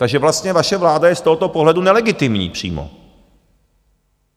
Takže vlastně vaše vláda je z tohoto pohledu nelegitimní přímo.